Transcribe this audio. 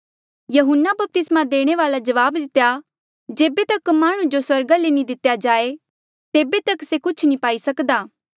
यहून्ना बपतिस्मा देणे वाल्ऐ जवाब दितेया जेबे तक माह्णुं जो स्वर्गा ले नी दितेया जाए तेबे तक से कुछ नी पाई सक्दा